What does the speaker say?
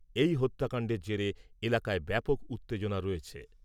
এই হত্যাকান্ডের জেরে এলাকায় ব্যাপক উত্তেজনা রয়েছে ।